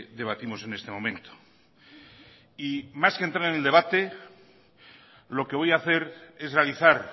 debatimos en este momento y más que entrar en el debate lo que voy a hacer es realizar